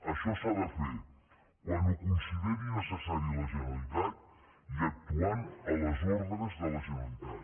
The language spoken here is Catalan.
això s’ha de fer quan ho consideri necessari la generalitat i actuant a les ordres de la generalitat